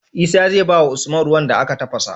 Isa zai bawa usman ruwan da aka tafasa